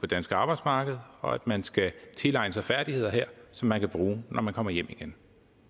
danske arbejdsmarked og at man skal tilegne sig færdigheder her som man kan bruge når man kommer hjem igen